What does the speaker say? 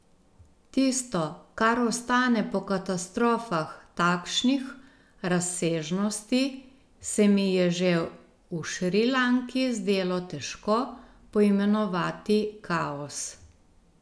Tisto, kar ostane po katastrofah takšnih razsežnosti, se mi je že v Šrilanki zdelo težko poimenovati kaos.